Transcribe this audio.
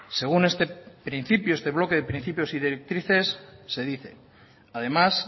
según este principio este bloque de principios y directrices se dice además